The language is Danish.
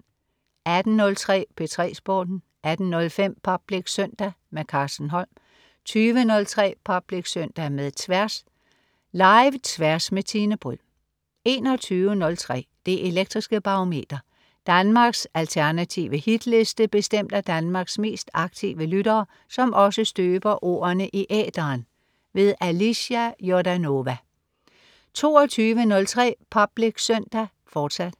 18.03 P3 Sporten 18.05 Public Søndag. Carsten Holm 20.03 Public Søndag med Tværs. Live-Tværs med Tine Bryld 21.03 Det elektriske Barometer. Danmarks alternative hitliste bestemt af Danmarks mest aktive lyttere, som også støber ordene i æteren. Alicia Jordanova 22.03 Public Søndag, fortsat